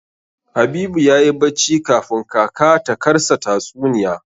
Habibu yayi bacci kafun kaka ta karsa tatsuniya.